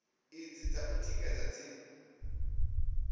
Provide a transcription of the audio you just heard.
idzi dza u tikedza dzi